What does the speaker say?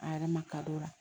A yɛrɛ ma kadɔ la